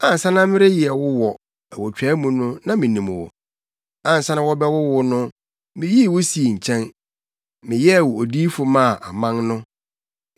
“Ansa na mereyɛ wo wɔ awotwaa mu no na minim wo; ansa na wɔrebɛwo wo no, miyii wo sii nkyɛn; meyɛɛ wo odiyifo maa aman no.”